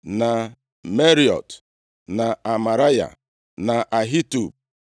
na Meraiot, na Amaraya, na Ahitub,